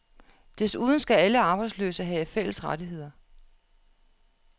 Desuden skal alle arbejdsløse have fælles rettigheder.